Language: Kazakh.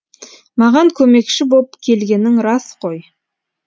маған көмекші боп келгенің рас қой